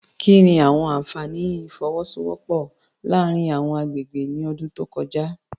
Kí ni àwọn àfààní ìfọwọ́sowọ́pọ̀ láàárín àwọn agbègbè ní ọdún tó kọjá?